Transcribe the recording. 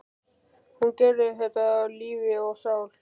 Hún gerði þetta af lífi og sál.